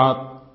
धन्यवाद